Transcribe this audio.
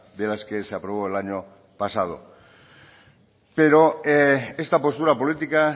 de las que se aprobó el año pasado pero esta postura política